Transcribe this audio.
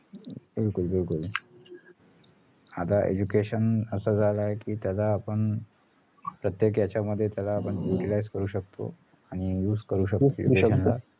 बिलकुल बिलकुल आता education असं झाल आहे कि त्याला आपण प्रत्येक याच्यामध्ये त्याला utilize करू शकतो आणि use करू शकतो